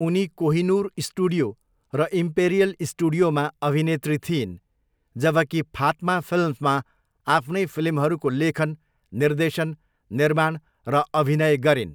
उनी कोहिनूर स्टुडियो र इम्पेरियल स्टुडियोमा अभिनेत्री थिइन्, जबकि फात्मा फिल्म्समा आफ्नै फिल्महरूको लेखन, निर्देशन, निर्माण र अभिनय गरिन्।